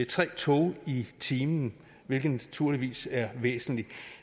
tre tog i timen hvilket naturligvis er væsentligt